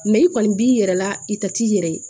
i kɔni b'i yɛrɛ la i tɛ t'i yɛrɛ ye